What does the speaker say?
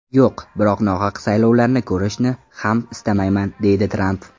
Yo‘q, biroq nohaq saylovlarni ko‘rishni ham istamayman”, deydi Tramp.